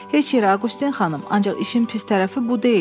Heç yerə Aqustin xanım, ancaq işin pis tərəfi bu deyil.